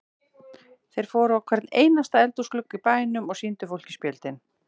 Þeir fóru á hvern einasta eldhúsglugga í bænum og sýndu fólki spjöldin.